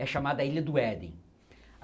É chamada Ilha do Éden.